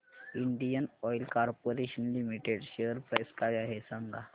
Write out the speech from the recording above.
Indian Oil Corporation Limited share price काय आहे सांगा